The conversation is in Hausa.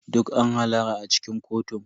Duk an hallara a cikin kotun.